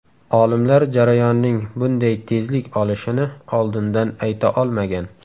Olimlar jarayonning bunday tezlik olishini oldindan ayta olmagan.